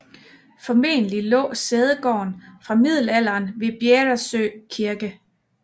Formentlig lå sædegården fra middelalderen ved Bjäresjö kirke